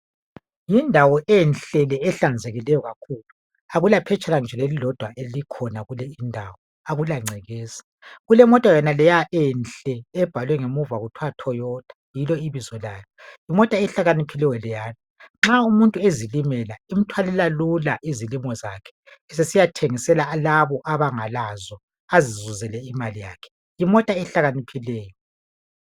Yindawo enhle le ehlanzekileyo kakhulu. Akulaphetshana nje elilodwa elikhona kuleyi indawo akulangcekeza kulemota yenaleya enhle ebhalwe ngemuva kuthiwa Toyota yilo ibizo layo, yimota ehlakaniphileyo leya nxa umuntu ezilimela emthwalela lula izilimo zakhe sesiyathengisela labo abangalazo azizule imali yakhe,,yimota ehlakaniphileyo.